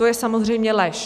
To je samozřejmě lež."